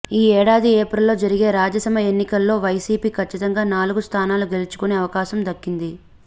ఈ ఏడాది ఏప్రిల్లో జరిగే రాజ్యసభ ఎన్నికల్లో వైసీపీ కచ్చితంగా నాలుగు స్ధానాలు గెల్చుకునే అవకాశం దక్కింది